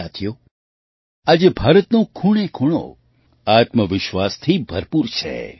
સાથીઓ આજે ભારતનો ખૂણેખૂણો આત્મવિશ્વાસથી ભરપૂર છે